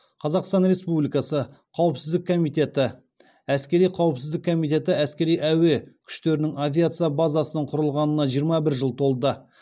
қазақстан республикасы қауіпсіздік комитеті әскери қауіпсіздік комитеті әскери әуе күштерінің авиация базасының құрылғанына жиырма бір жыл толды